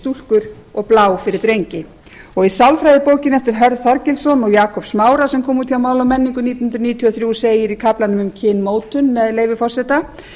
stúlkur og blá fyrir drengi í sálfræðibókinni eftir hörð þorgilsson og jakob smára sem kom út hjá máli og menningu nítján hundruð níutíu og þrjú segir í kaflanum um kynmótun með leyfi forseta